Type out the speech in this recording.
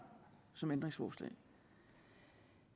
som ændringsforslag